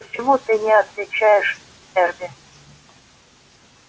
почему ты не отвечаешь эрби